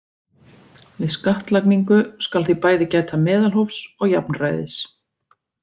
Við skattlagningu skal því bæði gæta meðalhófs og jafnræðis.